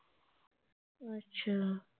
ਅੱਛਾ